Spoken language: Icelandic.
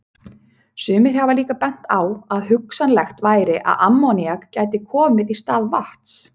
Sumir hafa líka bent á að hugsanlegt væri að ammoníak gæti komið í stað vatns.